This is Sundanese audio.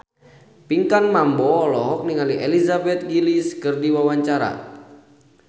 Pinkan Mambo olohok ningali Elizabeth Gillies keur diwawancara